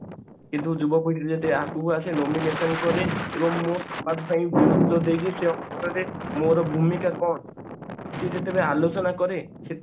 କିନ୍ତୁ ଯୁବ ପିଢୀ ଯଦି ଆଗକୁ ଆସିବ nomination କରି ଏବଂ ମୋର ଭୂମିକା କଣ ସେ ଯେତେବେଳେ ଆଲୋଚନା କରେ